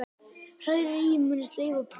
Hrærir í með sleif og prófar aftur.